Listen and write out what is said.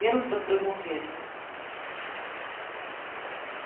венус подпрыгнул в кресле